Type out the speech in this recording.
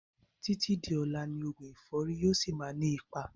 Títí di ọlá ni oògùn ẹ̀fọ́rì yìí ó síí má ni ipa